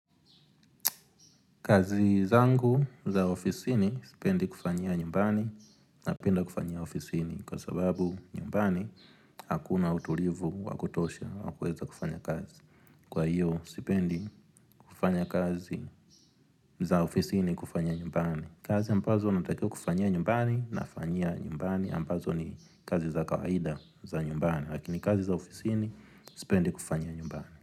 Kazi zangu za ofisini sipendi kufanyia nyumbani na penda kufanyia ofisini kwa sababu nyumbani hakuna utulivu wakutosha wakuweza kufanya kazi. Kwa hiyo sipendi kufanya kazi za ofisini kufanyia nyumbani. Kazi ambazo natakiwa kufanyia nyumbani na fanyia nyumbani ambazo ni kazi za kawaida za nyumbani. Lakini kazi za ofisini sipendi kufanya nyumbani.